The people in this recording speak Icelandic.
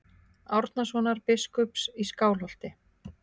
Árnasonar biskups í Skálholti.